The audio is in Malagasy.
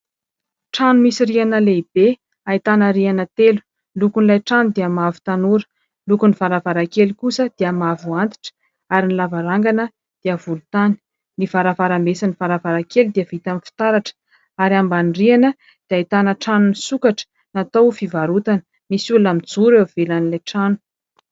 Trano misy rihana lehibe ahitana rihana telo. Lokon' ilay trano dia mavo tanora, lokon' ny varavarankely kosa dia mavo antitra ary ny lavarangana dia volotany. Ny varavarambe sy ny varavarankely dia vita amin' ny fitaratra ary ambany rihana dia ahitana trano misokatra natao ho fivarotana. Misy olona mijoro eo ivelan' ilay trano.